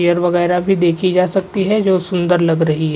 Chair वगैरा भी देखी जा सकती है जो सुंदर लग रही है।